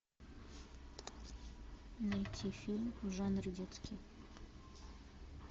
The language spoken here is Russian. найти фильм в жанре детский